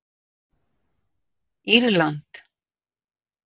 Írland